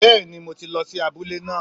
Bẹ́ẹ̀ni mo ti lọ si abúlé náà